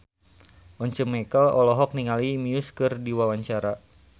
Once Mekel olohok ningali Muse keur diwawancara